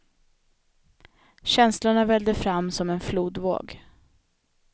Känslorna vällde fram som en flodvåg.